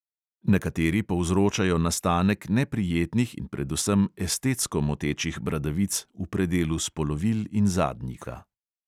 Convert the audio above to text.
Nekateri povzročajo nastanek neprijetnih in predvsem estetsko motečih bradavic v predelu spolovil in zadnjika.